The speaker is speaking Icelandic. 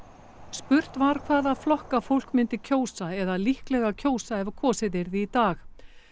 spurt var hvaða flokka fólk myndi kjósa eða líklega kjósa ef kosið yrði í dag